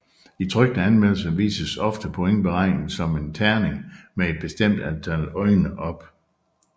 I trykte anmeldelser vises ofte pointberegningen som en terning med et bestemt antal øjne op